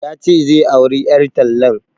Ya ce zai auri ƴar tallan